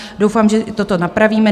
Doufám, že toto napravíme.